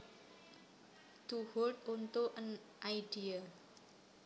To hold onto an idea